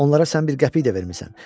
Onlara sən bir qəpik də vermisən.